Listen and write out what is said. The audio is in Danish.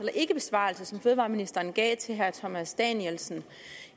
den ikkebesvarelse som fødevareministeren gav til herre thomas danielsen